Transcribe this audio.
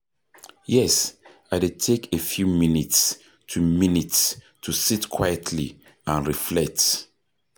Yes, i dey take a few minutes to minutes to sit quietly and reflect.